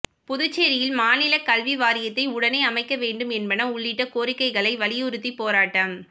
புதுச்சேரியில் மாநில கல்வி வாரியத்தை உடனே அமைக்க வேண்டும் என்பன உள்ளிட்ட கோாிக்கைகளை வலியுறுத்தி போராட்டம்